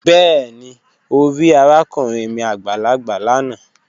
Bẹẹni, o ri arakunrin mi agbalagba lana